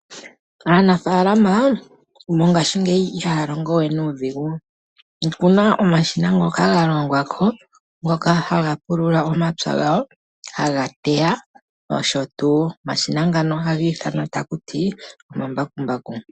Aanafaalama mongashingeyi ihaya longo we nuudhigu. Okuna omashina ngoka ga longwako ngoka haga pulula omapya gawo. Haga teya nosho tuu omashina ngano ohaga ithanwa takuti omambakumbaku.